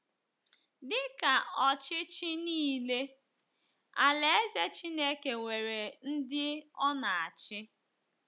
Dị ka ọchịchị nile, Alaeze Chineke nwere ndị ọ na-achị.